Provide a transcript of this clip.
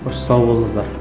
қош сау болыңыздар